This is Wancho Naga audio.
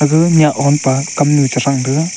agaga nyah nyah ompa kamnu chethrang taiga.